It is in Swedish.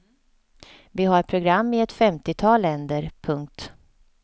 Vi har program i ett femtiotal länder. punkt